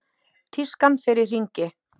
Tískan fer í hringi.